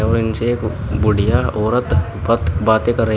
और इनसे एक बुढ़िया औरत बत बाते कर रही है।